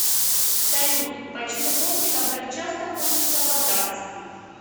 салют почему гопникам так часто хочется подраться